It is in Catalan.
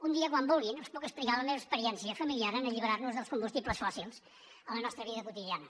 un dia quan vulguin els puc explicar la meva experiència familiar en alliberar nos dels combustibles fòssils a la nostra vida quotidiana